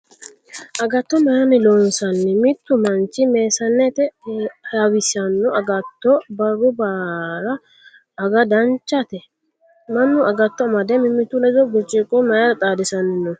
Agatto mayiinni loonsanni? Mittu manchi meessanete hawissano agatto barru baara aga danchate? Mannu agatto amade mimmitu ledo birciqo mayiira xaadisanni no?